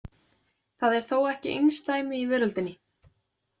Það er þó ekki einsdæmi í veröldinni.